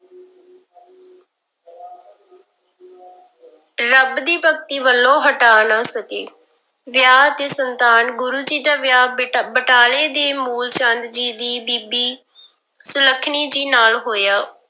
ਰੱਬ ਦੀ ਭਗਤੀ ਵੱਲੋਂ ਹਟਾ ਨਾ ਸਕੇ, ਵਿਆਹ ਤੇ ਸੰਤਾਨ, ਗੁਰੂ ਜੀ ਦਾ ਵਿਆਹ ਬਟ ਬਟਾਲੇ ਦੇ ਮੂਲ ਚੰਦ ਜੀ ਦੀ ਬੀਬੀ ਸੁਲੱਖਣੀ ਜੀ ਨਾਲ ਹੋਇਆ।